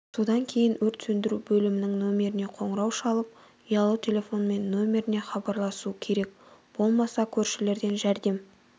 содан кейін өрт сөндіру бөлімінің нөмеріне қоңырау шалып ұялы телефонмен нөмеріне хабарласу керек болмаса көршілерден жәрдем